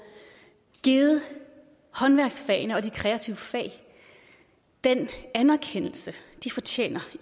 givet håndværksfagene og de kreative fag den anerkendelse de fortjener